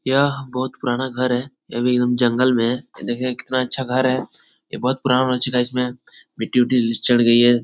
यह बोहोत पुराना घर है। ये भी जंगल में हे। ये देखिये कितना अच्छा घर है। ये बोहोत पुराना हो चूका इसमें मिट्टी- उट्टी चढ़ गई है।